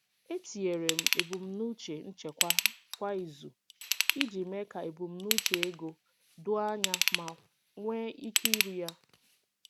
Etinyere m ebumnuche nchekwa kwa izu iji mee ka ebumnuche ego doo anya ma nwee ike iru ya.